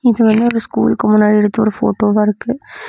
இது வந்து ஒரு ஸ்கூலுக்கு முன்னாடி எடுத்த ஒரு போட்டோவா இருக்கு.